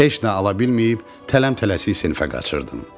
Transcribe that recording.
Heç nə ala bilməyib, tələm-tələsik sinifə qaçırdım.